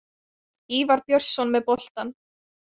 Ívar Björnsson með boltann.